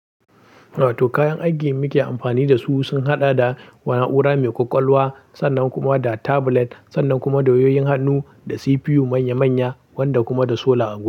To kayan aikin muke amfani da su sun haɗa da na'ura mai ƙwaƙwalwa sannan kuma da tablet sannan kuma da wayoyin hannu da CPU manya-manya wanda kuma da sola'a goma.